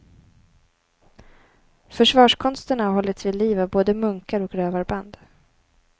Försvarskonsterna har hållits vid liv av både munkar och rövarband.